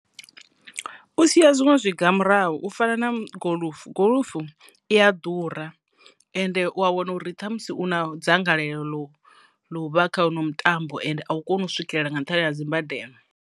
U siya zwiṅwe zwiga murahu u fana na goḽufu, goḽufu i ya ḓura ende u a wana uri ṱhamusi u na dzangalelo ḽo u vha kha huno mutambo ende a u koni u swikelela nga nṱhani ha dzimbadelo.